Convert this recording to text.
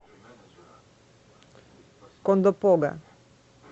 кондопога